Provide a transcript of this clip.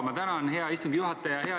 Ma tänan, hea istungi juhataja!